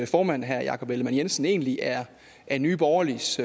formand herre jakob ellemann jensen egentlig er er nye borgerliges